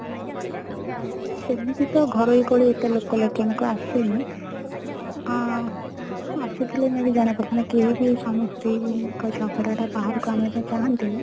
ସେମିତି ତ ଘରୋଇ କଳି ଏତେ ଲୋକ ଲୋଚନ କୁ ଆସେନି ଆଁ ଆସି ଥିଲେ may be ଜଣା ପଡି ଥାନ୍ତା କେହି ବି ସ୍ୱାମୀ ସ୍ତ୍ରୀ ଙ୍କ ଝଗଡା ଟା ବାହାର କୁ ଆଣିବା ପାଇଁ ଚାହନ୍ତିନି